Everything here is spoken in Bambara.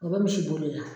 O bɛ misi bolila